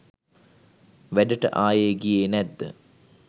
වැඩට ආයෙ ගියේ නැත්ද